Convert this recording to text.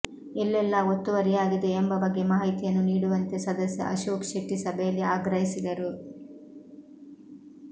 ಎಲ್ಲೆಲ್ಲಾ ಒತ್ತುವರಿಯಾಗಿದೆ ಎಂಬ ಬಗ್ಗೆ ಮಾಹಿತಿಯನ್ನು ನೀಡುವಂತೆ ಸದಸ್ಯ ಅಶೋಕ್ ಶೆಟ್ಟಿ ಸಭೆಯಲ್ಲಿ ಆಗ್ರಹಿಸಿದರು